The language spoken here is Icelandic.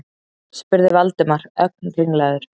spurði Valdimar, ögn ringlaður.